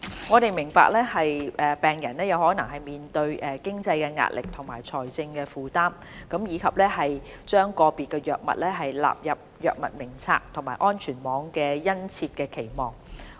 我們明白病人面對的經濟壓力和財政負擔，以及把個別藥物納入《藥物名冊》和安全網的殷切期望。